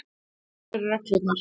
Þínar eru reglurnar.